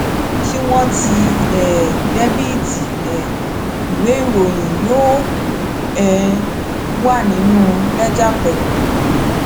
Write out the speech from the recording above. tí wọn ti um dẹbìtì um ìwé ìròyìn yóò um wà nínú lẹjà pẹlú